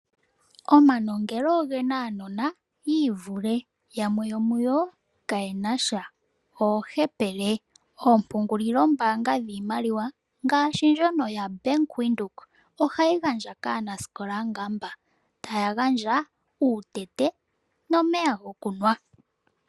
Omanongelo oge na aanona yi ivule yamwe yomuyo kayenasha oohepele. Oompungulilombaanga dhiimaliwa ngaashi ndjono yaBank Windhoek ohayi gandja kaanasikola nga mba, taya gandja uutete nomeya gokunwa.